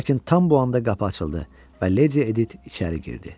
Lakin tam bu anda qapı açıldı və Lady Edit içəri girdi.